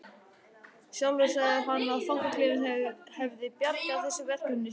Sjálfur sagði hann að fangaklefinn hefði bjargað þessu verkefni sínu.